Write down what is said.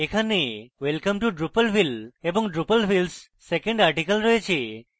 এখানে welcome to drupalville এবং drupalville s second article রয়েছে